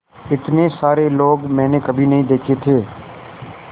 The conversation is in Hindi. इतने सारे लोग मैंने कभी नहीं देखे थे